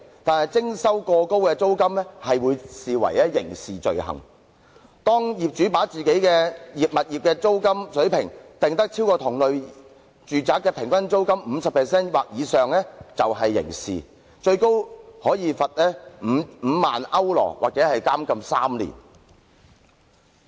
但是，徵收過高租金將會被視為刑事罪行，當業主把自己的物業租金水平訂於高於同類住宅的平均租金 50% 或以上時，便屬刑事罪行，最高可罰款5萬歐羅或監禁3年。